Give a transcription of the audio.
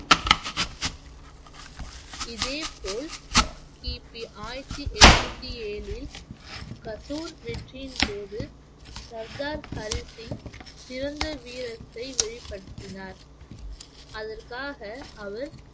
இதே போல் கிபி ஆயிரத்தி எண்ணூத்தி ஏழில் கசூர் வெற்றியின் போது சர்தார் ஹரி சிங் சிறந்த வீரத்தை வெளிப்படுத்தினார் அதற்காக அவர்